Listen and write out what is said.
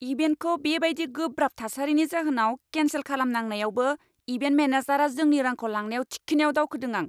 इभेन्टखौ बे बायदि गोब्राब थासारिनि जाहोनाव केनसेल खालामनांनायावबो इभेन्ट मेनेजारआ जोंनि रांखौ लानायाव थिखिनिआव दावखोदों आं।